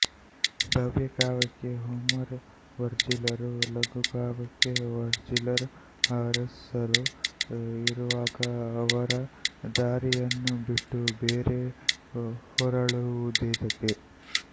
ಭವ್ಯಕಾವ್ಯಕ್ಕೆ Homer ವರ್ಜಿಲರೂ ಲಘುಕಾವ್ಯಕ್ಕೆ Virgil ಹಾರೆಸ್ಸರೂ ಇರುವಾಗಿ ಅವರ ದಾರಿಯನ್ನು ಬಿಟ್ಟು ಬೇರೆ ಹೊರಳುವುದೇತಕ್ಕೆ